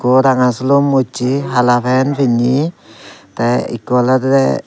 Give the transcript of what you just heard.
ekku ranga sulum uchi hala pant pinne te ekku olode.